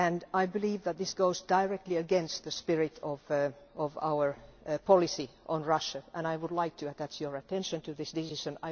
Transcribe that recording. I believe that this goes directly against the spirit of our policy on Russia, and I would like to draw your attention to this decision.